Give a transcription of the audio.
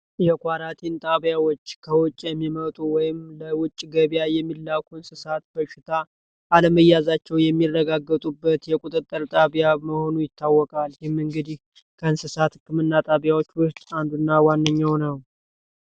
ጣቢያዎች ከውጪ የሚመጡ ወይም ለውጭ ገበያ የሚላኩ በሽታ አለመያዛቸው የሚረጋገጡበት የቁጥጥር ጣቢያ መሆኑ ይታወቃል እንግዲህ ከእንስሳት ህክምና ጣቢያዎች አንድ እና ዋነኛው ነው